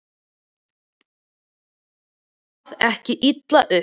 Takið það ekki illa upp.